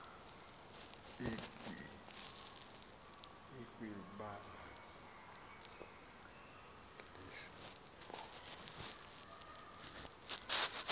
ikwi banga lesibhozo